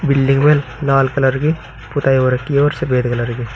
Building में लाल colour की पोताई हो रखी है और सफेद कलर की।